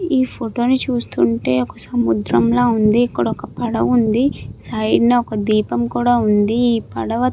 ఈ ఫోటో ని చూస్తుంటే ఒక సముద్రం లా ఉంది ఇక్కడ ఒక పడవ ఉంది సైడ్ న ఒక దీపం కూడా ఉంది ఈ పడవ --